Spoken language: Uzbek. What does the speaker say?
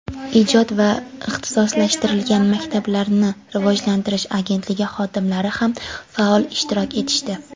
ijod va ixtisoslashtirilgan maktablarni rivojlantirish agentligi xodimlari ham faol ishtirok etishdi.